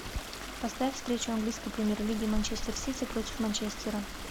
поставь встречу английской премьер лиги манчестер сити против манчестера